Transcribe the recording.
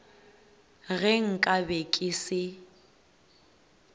ge nka be ke se